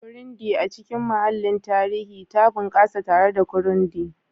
Burundi, a cikin mahallin tarihi, ta bunƙasa tare da Kirundi